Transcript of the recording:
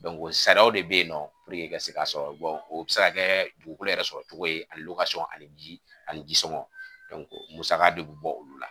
sariyaw de bɛ yen nɔ puruke i ka se k'a sɔrɔ, o bɛ se ka kɛ dugukolo yɛrɛ sɔrɔ cogo ye ani ani ji ani jisɔngɔ musaka de bɛ bɔ olu la.